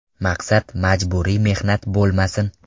Maqsad majburiy mehnat bo‘lmasin.